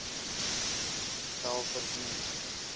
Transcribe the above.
welverdiend